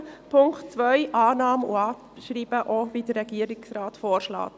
Bei Punkt 2 empfehlen wir Annahme und Abschreibung, wie es auch der Regierungsrat vorschlägt.